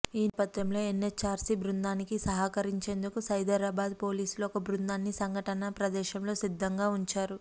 ఈ నేపథ్యంలో ఎన్హెచ్ఆర్సీ బృందానికి సహకరించేందుకు సైబరాబాద్ పోలీసులు ఒక బృందాన్ని సంఘటనా ప్రదేశంలో సిద్ధంగా ఉంచారు